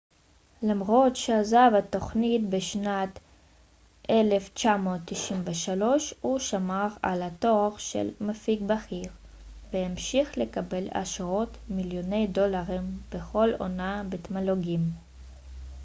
למרות שעזב את התוכנית בשנת 1993 הוא שמר על התואר של מפיק בכיר והמשיך לקבל עשרות מיליוני דולרים בכל עונה בתמלוגים